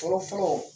Fɔlɔ fɔlɔ